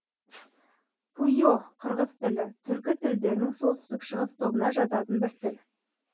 пуйо қырғыз тілі түркі тілдерінің солтүстік шығыс тобына жататын бір тіл